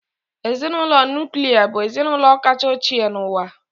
Ezinụlọ nuklia bụ ezinụlọ kacha ochie n'ụwa.